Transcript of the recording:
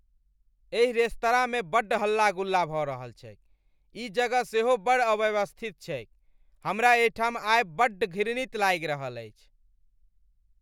एहि रेस्तरांमे बड्ड हल्ला गुल्ला भऽ रहल छैक, ई जगह सेहो बड़ अव्यवस्थित छैक, हमरा एहिठाम आयब बड्ड घृणित लागि रहल अछि।